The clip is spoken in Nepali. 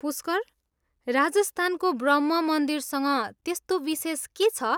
पुस्कर, राजस्थानको ब्रह्म मन्दिरसँग त्यस्तो विशेष के छ?